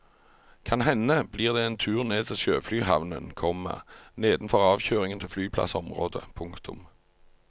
Kan hende blir det en tur ned til sjøflyhavnen, komma nedenfor avkjøringen til flyplassområdet. punktum